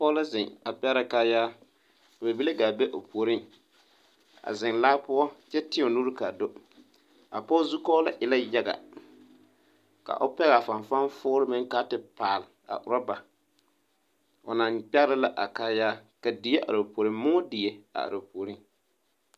poge la zeŋ a pɛgrɛ kaayaa bibile gaa be o poore a zeŋ laa poʊ kyɛ teɛ o nuure kaa do. a poge zukɔɔlu e la yaga ka o pɛgaa fanfan fooluŋ meŋ kaa te paal a urababo o na pɛgre ne a kaayaa ka die are o pooreŋ moʊ die are o pooreŋ